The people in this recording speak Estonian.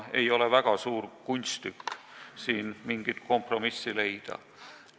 Ei ole väga suur kunsttükk siin mingit kompromissi leida.